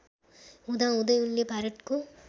हुँदाहुँदै उनले भारतको